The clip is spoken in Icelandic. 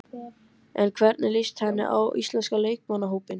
En hvernig líst henni á íslenska leikmannahópinn?